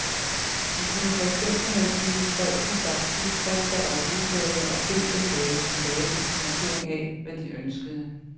Vi kunne for eksempel have givet folk en stak tidsskrifter og ugeblade og bedt dem lave collager til markering af, hvad de ønskede.